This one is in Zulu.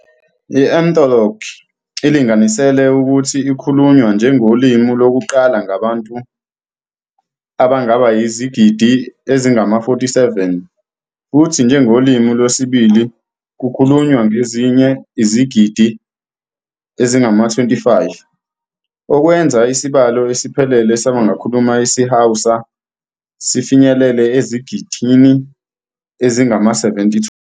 I-Ethnologue ilinganisele ukuthi ikhulunywa njengolimi lokuqala ngabantu abangaba yizigidi ezingama-47 futhi njengolimi lwesibili kukhulunywa ngezinye izigidi ezingama-25, okwenza isibalo esiphelele sabakhuluma isiHausa sifinyelele ezigidini ezingama-72.